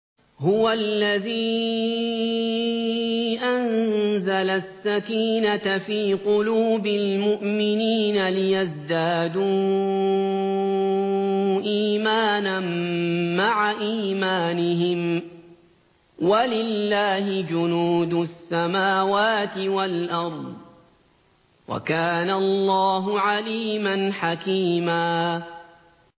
هُوَ الَّذِي أَنزَلَ السَّكِينَةَ فِي قُلُوبِ الْمُؤْمِنِينَ لِيَزْدَادُوا إِيمَانًا مَّعَ إِيمَانِهِمْ ۗ وَلِلَّهِ جُنُودُ السَّمَاوَاتِ وَالْأَرْضِ ۚ وَكَانَ اللَّهُ عَلِيمًا حَكِيمًا